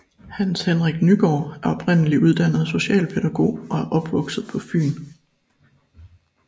Hans Henrik Nygaard er oprindeligt uddannet socialpædagog og er opvokset på Fyn